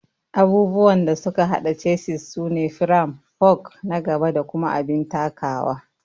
Abubuwan da suka hada chassis sune firam, fork na gaba da kuma abin takawa